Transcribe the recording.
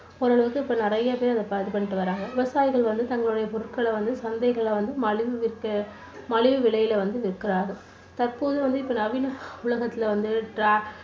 ஓரளவுக்கு இப்போ நிறைய பேர் இது பண்ணிட்டு வர்றாங்க விவசாயிகள் வந்து தங்களோட பொருட்களை வந்து சந்தைகளை வந்து மலிவு விற்க மலிவு விலையில வந்து விற்கிறார்கள். தற்போது வந்து நவீன உலகத்துல வந்து